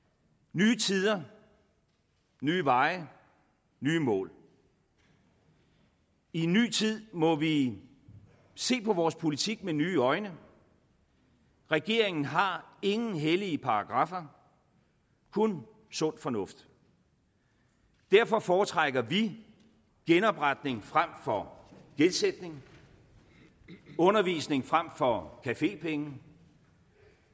nye tider nye veje nye mål i en ny tid må vi se på vores politik med nye øjne regeringen har ingen hellige paragraffer kun sund fornuft derfor foretrækker vi genopretning frem for gældssætning undervisning frem for cafépenge